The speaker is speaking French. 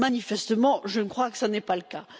Manifestement, je crois que ce n'est pas le cas.